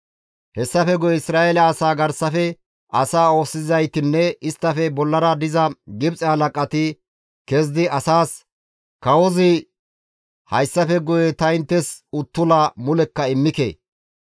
Hessafe guye Isra7eele asaa garsafe asaa oosisizaytinne isttafe bollara diza Gibxe halaqati kezidi asaas, «Kawozi, ‹Hayssafe guye ta inttes uttula mulekka immike.